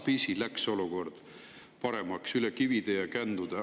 – läks tasapisi olukord paremaks, üle kivide ja kändude.